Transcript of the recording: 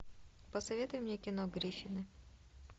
посоветуй мне кино гриффины